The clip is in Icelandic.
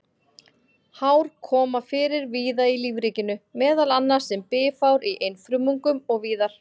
Hár koma fyrir víða í lífríkinu, meðal annars sem bifhár í einfrumungum og víðar.